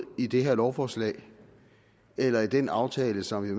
i det her lovforslag eller i den aftale som vi